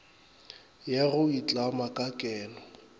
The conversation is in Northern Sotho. ya go itlama ka keno